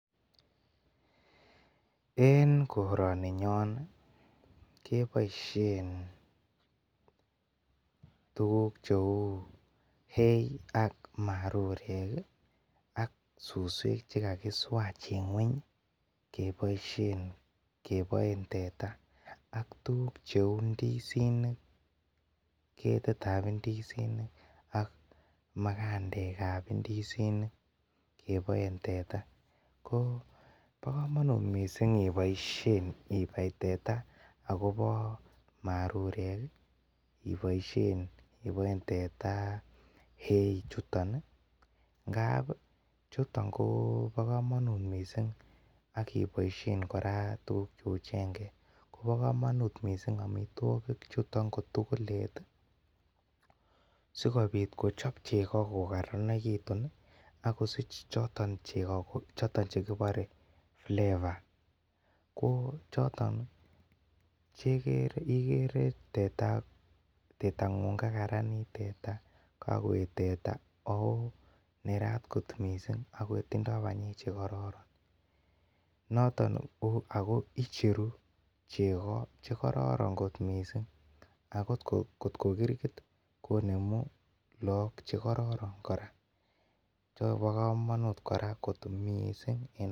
En koraan ninyon keboisien tuguk cheuu hay ak marurek, ak tuguk chekakisuach keboen teta, ak tuguk cheuu ndisinik , ketikab ndisinik ak magandekab indisinik, keboen tetaa ko ba komanut missing iniboishen ibai teta, akobo marurek ibaishen ibaen teta hay ichuton ih , ngab ih chuton ko bo kamanut missing akiboisien akot kouu chengek ko ba kamanut missing ngap amituakik chuton ko tugulet ih sikobit kochob cheko kokarnegitun ih akosich choton chekibore flavor choton igere tetang'ung kakarnit teta, kakoet teta aooh nerat kot missing ako tinye banyek chekororon ago atko kirgit kocheru moek chekoraran chebo komanut kora kot missing.